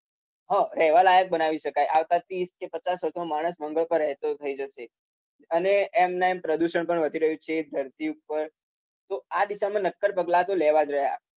રહેવા લાયક બનાવી શકાય. આવતા ત્રીસ કે પચાસ વર્ષમાં માણસ મંગળ પર રહેતો થઈ જશે. અને એમનેએમ પ્રદુષણ પણ થઈ રહ્યુ છે ધરતી ઉપર તો દિશામાં નક્કર પગલાતો લેવા જ રહ્યા.